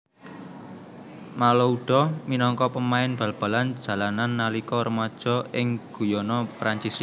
Malouda minangka pemain bal balan jalanan nalika remaja ing Guyana Perancis